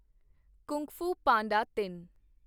Kung Fu Panda ਤਿੰਨ